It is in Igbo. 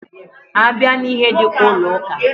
A bịa n'ihe dika ụlọ ụka.